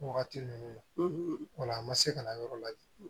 Wagati ninnu na o la a ma se ka na yɔrɔ lajɛ